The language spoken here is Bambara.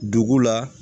Dugu la